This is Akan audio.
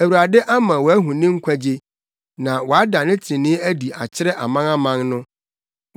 Awurade ama wɔahu ne nkwagye na wada ne trenee adi akyerɛ amanaman no.